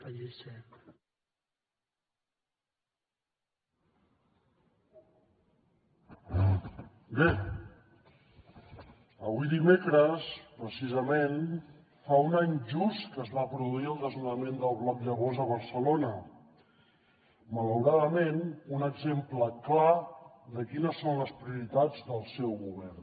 bé avui dimecres precisament fa un any just que es va produir el desnonament del bloc llavors a barcelona malauradament un exemple clar de quines són les prioritats del seu govern